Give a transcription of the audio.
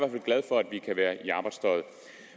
glad for at vi kan være i arbejdstøjet